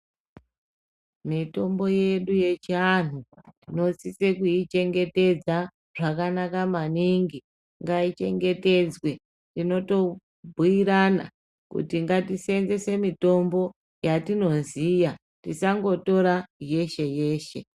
Mitombo yedu yechianhu tinosise kuichengetedza zvakanaka maningi ngaichengetedzwe. Tinotobhuirana kuti ngatiseenzese mitombo yatinoziya, tisangotora yeshe-yeshe.